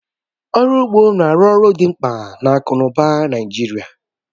Ọrụ ugbo na-arụ ọrụ dimkpa na akụ n'ụba Naịjirịa